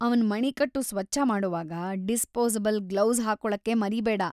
ಅವ್ನ ಮಣಿಕಟ್ಟು ಸ್ವಚ್ಛ ಮಾಡೋವಾಗ ಡಿಸ್ಪೋಸಬಲ್ ಗ್ಲೌಸ್‌ ಹಾಕೊಳ್ಳೋಕೆ ಮರೀಬೇಡ.